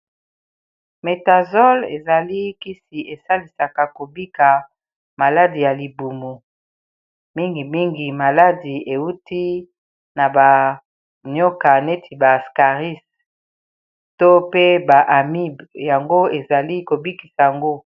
Metasole ezali kisi esalisaka kobika maladi ya libumu. mingimingi maladi ewuti na banyoka neti b'ascaris to pe ba amibe yango ezali kobikisa yango.